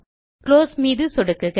close மீது சொடுக்குக